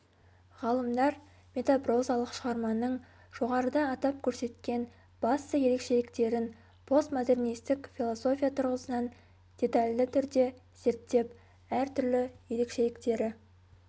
ғалымдар метапрозалық шығарманың жоғарыда атап көрсеткен басты ерекшеліктерін постмодернистік философия тұрғысынан детальді түрде зерттеп әртүрлі ерекшеліктері